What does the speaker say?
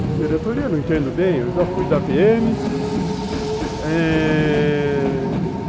Não, diretoria eu não entendo bem, eu já fui da pê eme eh...